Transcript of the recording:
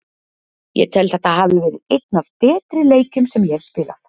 Ég tel þetta hafa verið einn af betri leikjum sem ég hef spilað.